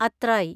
അത്രായി